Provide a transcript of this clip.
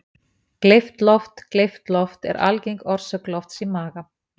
Gleypt loft Gleypt loft er algeng orsök lofts í maga.